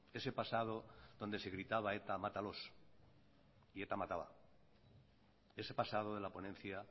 ese pasado donde se gritaba eta matalos y eta mataba ese pasado de la ponencia